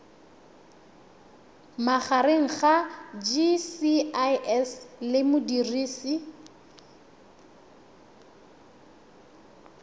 magareng ga gcis le modirisi